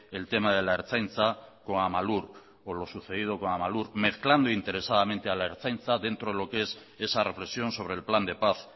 el tema de la ertzaintza con lo sucedido con amalur mezclando interesadamente a la ertzaintza dentro de lo que es esa reflexión sobre el plan de paz